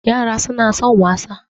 yara suna son wasa